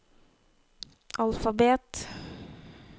alfabet